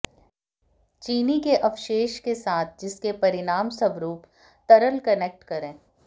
चीनी के अवशेष के साथ जिसके परिणामस्वरूप तरल कनेक्ट करें